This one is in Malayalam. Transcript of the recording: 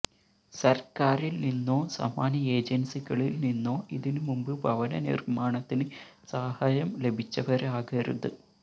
സര്ക്കാരില് നിന്നോ സമാന ഏജന്സികളില് നിന്നോ ഇതിന് മുമ്പ് ഭവന നിര്മ്മാണത്തിന് സഹായം ലഭിച്ചവരാകരുത്